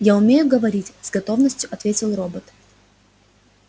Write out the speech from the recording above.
я умею говорить с готовностью ответил робот